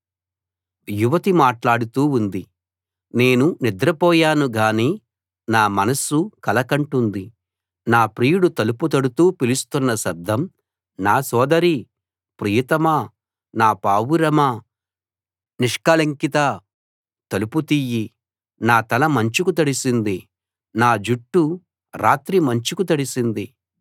[నాలుగవ భాగం] యువతి మాట్లాడుతూ ఉంది నేను నిద్ర పోయాను గానీ నా మనస్సు కల కంటోంది నా ప్రియుడు తలుపు తడుతూ పిలుస్తున్న శబ్దం నా సోదరీ ప్రియతమా నా పావురమా నిష్కళంకితా తలుపు తియ్యి నా తల మంచుకు తడిసింది నా జుట్టు రాత్రి మంచుకు తడిసింది